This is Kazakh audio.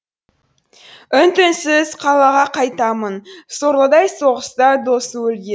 үн түнсіз қалаға қайтамын сорлыдай соғыста досы өлген